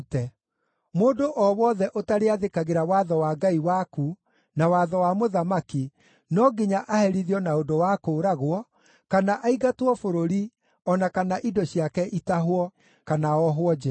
Mũndũ o wothe ũtarĩathĩkagĩra watho wa Ngai waku na watho wa mũthamaki no nginya aherithio na ũndũ wa kũũragwo, kana aingatwo bũrũri, o na kana indo ciake itahwo, kana ohwo njeera.